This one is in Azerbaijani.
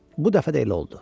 Bu dəfə də elə oldu.